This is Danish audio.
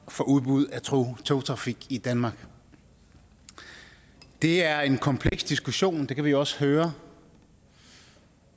for udbud af togtrafik i danmark det er en kompleks diskussion og det kan vi også høre